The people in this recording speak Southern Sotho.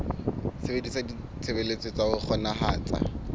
sebedisa ditshebeletso tsa ho kgonahatsa